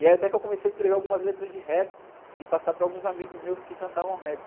E aí até que eu comecei a escrever algumas letras de rap e passar para alguns amigos meus que cantavam rap.